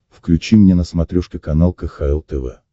включи мне на смотрешке канал кхл тв